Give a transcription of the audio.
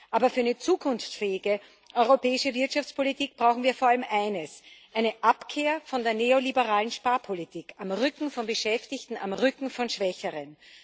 Aber für eine zukunftsfähige europäische Wirtschaftspolitik brauchen wir vor allem eines eine Abkehr von der neoliberalen Sparpolitik am Rücken von Beschäftigten, am Rücken von Schwächeren.